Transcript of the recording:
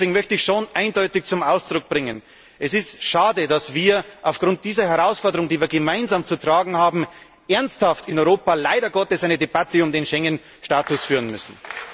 Deswegen möchte ich schon eindeutig zum Ausdruck bringen Es ist schade, dass wir aufgrund dieser Herausforderung, die wir gemeinsam zu tragen haben, in Europa leider Gottes ernsthaft eine Debatte über den Schengenstatus führen müssen.